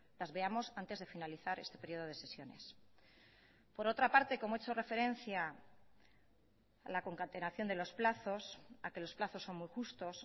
las veamos antes de finalizar este período de sesiones por otra parte como he hecho referencia a la concatenación de los plazos a que los plazos son muy justos